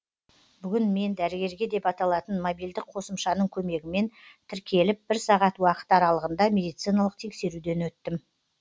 бүгін мен дәрігерге деп аталатын мобильдік қосымшаның көмегімен тіркеліп бір сағат уақыт аралығында медициналық тексеруден өттім